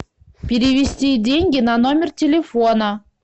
перевести деньги на номер телефона